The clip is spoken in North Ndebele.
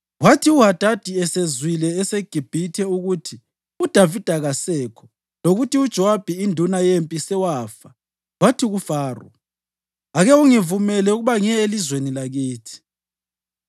Kwathi uHadadi esezwile eseGibhithe ukuthi uDavida kasekho lokuthi uJowabi induna yempi sewafa, wathi kuFaro: “Ake ungivumele ukuba ngiye elizweni lakithi.”